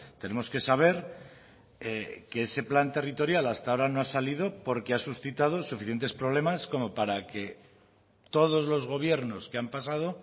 tenemos que saber que ese plan territorial hasta ahora no ha salido porque ha suscitado suficientes problemas como para que todos los gobiernos que han pasado